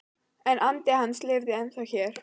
En andi hans lifir ennþá hér